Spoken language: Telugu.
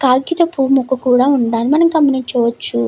కాగితపు పువ్వు ముక్కు కూడా ఉండాలి అని మనం గమనించవచ్చు.